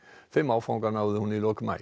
þeim áfanga náði hún í lok maí